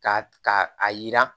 Ka ka a yira